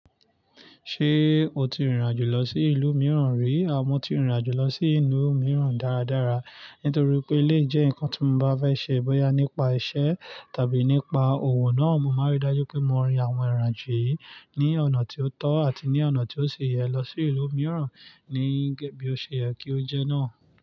Ṣé o ti rìnrìn àjò lọ sí ìlú mìíràn rí? Àmọ́ ti rìnrìn àjò lọ sí ìlú mìíràn dáradára nítorí pé ilé jẹ́ nǹkan tí mo bá fẹ́ ṣe bóyá nípa iṣẹ́ tàbí nípa òwò náà, mo máa rí dájú pé mo rin àwọn ìrìnàjò yìí ní ọ̀nà tí ó tọ́ àti ní ọ̀nà tí ó ṣe yẹ lọ sí ìlú mìíràn níbi ó ṣe yẹ kí ó jẹ́ náà.